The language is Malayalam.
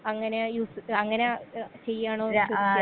അങ്ങനെ യൂസ് അങ്ങനെ ഏ ചെയ്യാണോ .